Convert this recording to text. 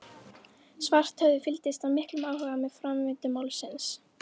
Svarthöfði fylgdist af miklum áhuga með framvindu málsins.